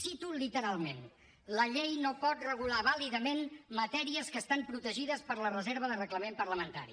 cito literalment la llei no pot regular vàlidament matèries que estan protegides per la reserva de reglament parlamentari